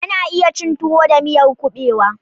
Ana iya cin tuwo da miyar kuɓewa.